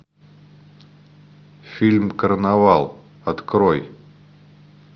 фильм карнавал открой